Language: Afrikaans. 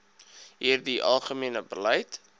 hierdie algemene beleid